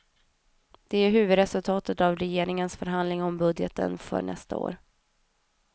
Det är huvudresultaten av regeringens förhandlingar om budgeten för nästa år.